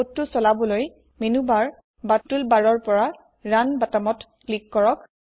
কোডটো চলাবলৈ menu bar বা টুল barৰ পৰা ৰুণ বটনত ক্লিক কৰক